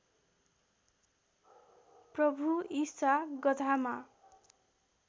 प्रभु ईशा गधामा